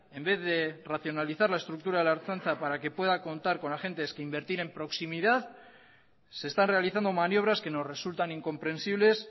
en vez de racionalizar la estructura de la ertzaintza para que pueda contar con agentes que invertir en proximidad se están realizando maniobras que nos resultan incomprensibles